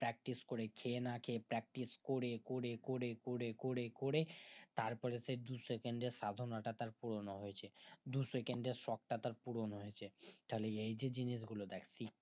practice করে খেয়ে না খেয়ে practice করে করে করে করে করে করে তার পরে সেই দু second এর সাধনাটা তার পূর্ণ হয়েছে দু second এর শখ টা তার পূরণ হয়েছে তাহলে এই যে জিনিস গুলো দেখ কি